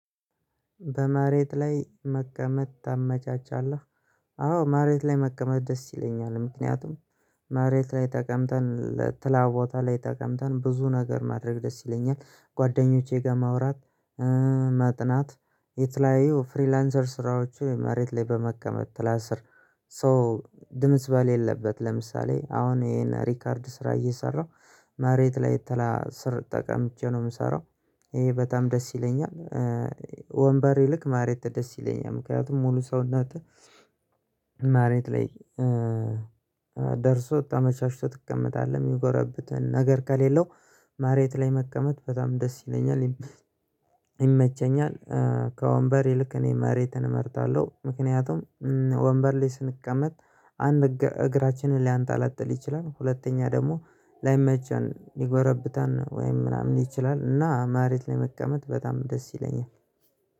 በመሬት ላይ መቀመጥ ታመቻቻለህ? አዎ መሬት ላይ መቀመጥ ደስ ይለኛል። ምክንያቱም መሬት ላይ ተቀምጠን ጥላ ቦታ ላይ ተቀምጠን ብዙ ነገር ማድረግ ደስ ይለኛል ጓደኞቼ ጋር ማውራት ማጥናት የተለያዩ ፍሪላንሰር ስራዎች መሬት ላይ በመቀመጥ ጥላስር። ሶ ድምጽ በሌለበት ለምሳሌ አሁን ይሄን ሪከርድ ስራ እየሰራሁ መሬት ላይ ጥላ ስር ጠቀምቼ ነው የምሰራው። ይሄ በጣም ደስ ይለኛል። ወንበር ይልቅ መሬት ደስ ይለኛል ምክንያቱም ሙሉ ሰውነት። መሬት ላይ ደርሶ ተመቻችቶ ትቀመጣለህ የሚጎረብጥ ነገር ከሌለው መሬት ላይ መቀመጥ በጣም ደስ ይለኛል። ይመቸኛል። ከወንበር ይልቅ እኔ መሬትን እመርጣለሁ። ምክንያቱም ወንበር ላይ ስንቀመጥ አንድ እግራችንን ሊያንጠለጥል ይችላል። ሁለተኛ ደግሞ ላይመቸን ይጎረብጣል ወይም ምናምን ይችላል። እና መሬት ላይ መቀመጥ በጣም ደስ ይለኛል